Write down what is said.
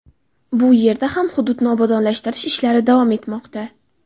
Bu yerda ham hududni obodonlashtirish ishlari davom etmoqda.